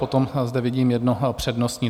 Potom zde vidím jedno přednostní.